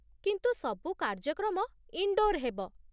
କିନ୍ତୁ ସବୁ କାର୍ଯ୍ୟକ୍ରମ ଇନ୍‌ଡ଼ୋର୍ ହେବ।